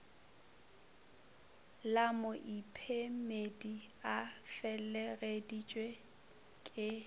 la moiphemedi a felegeditšwe ke